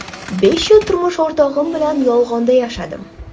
Besh yil turmush o‘rtog‘im bilan yolg‘onda yashadim.